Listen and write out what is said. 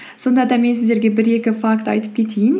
сонда да мен сіздерге бір екі факт айтып кетейін